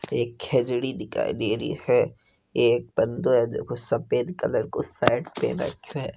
एक खेजड़ी दिखाई दे रही है एक बंदों है देखो सफेद कलर को शर्ट पहन रखयो है।